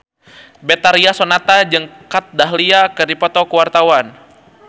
Betharia Sonata jeung Kat Dahlia keur dipoto ku wartawan